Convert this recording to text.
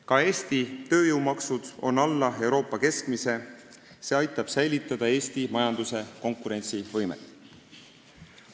Ka Eesti tööjõumaksud on alla Euroopa keskmise, see aitab säilitada Eesti majanduse konkurentsivõimet.